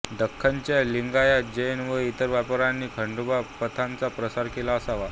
दख्खनच्या लिंगायत जैन व इतर व्यापाऱ्यांनी खंडोबा पंथाचा प्रसार केला असावा